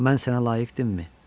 Mən sənə layiq idimmi?